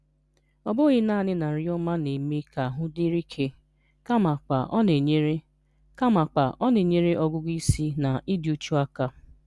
Ọ bụghị naanị na nri ọma na-eme ka ahụ dịrị ike, kamakwa ọ na-enyere kamakwa ọ na-enyere ọgụgụ isi na ịdị uchu aka.